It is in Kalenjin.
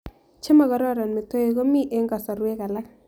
Che makororn metowik ko mito eng' kasarwek alak